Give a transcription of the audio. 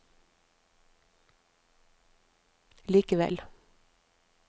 likevel